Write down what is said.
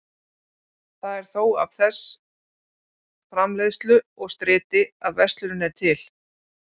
Það er þó af þess framleiðslu og striti að verslunin er til.